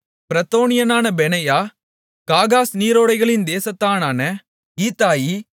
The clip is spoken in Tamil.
பிரத்தோனியனான பெனாயா காகாஸ் நீரோடைகளின் தேசத்தானான ஈத்தாயி